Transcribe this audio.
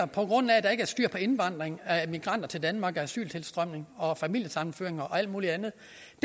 er styr på indvandringen af migranter til danmark asyltilstrømningen og familiesammenføringer og alt muligt andet